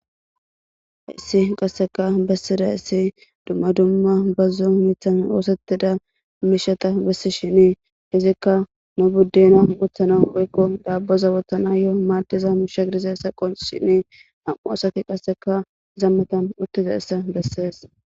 Hayssi qasseka bessida issi dumma dumma bazzo mithan oosetida miishata bessi shinii hizikka nu buddena guthana oykko daabboza wotana yo'o maaddiza musha girize saqo shinii am'o asaki qasseka zammatan uttiza issa bessees